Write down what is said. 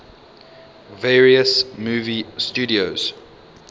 various movie studios